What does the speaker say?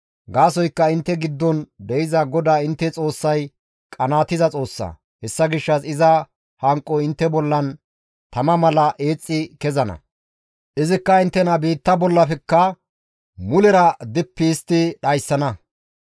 Gaasoykka intte giddon de7iza GODAA intte Xoossay qanaatiza Xoossa; hessa gishshas iza hanqoy intte bollan tama mala eexxi kezana; izikka inttena biitta bollafekka mulera dippi histti dhayssana.